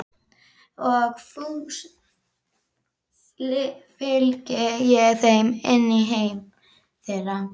Og fús fylgi ég þeim inn í heim þeirra.